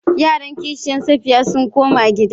Yaran kishiyan Safiya sun koma gida.